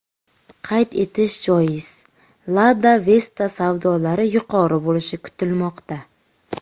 Qayd etish joiz, Lada Vesta savdolari yuqori bo‘lishi kutilmoqda.